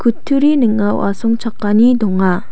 kutturi ning·ao asongchakani donga.